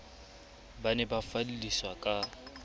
ba ne ba falliswa ka